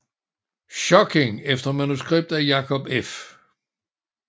Schokking efter manuskript af Jacob F